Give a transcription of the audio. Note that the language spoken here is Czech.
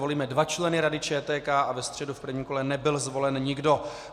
Volíme dva členy Rady ČTK a ve středu v prvním kole nebyl zvolen nikdo.